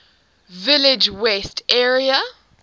village west area